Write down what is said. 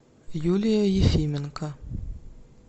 юлия ефименко